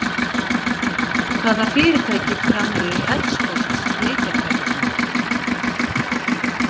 Hvaða fyrirtæki framleiðir Xbox leikjatölvurnar?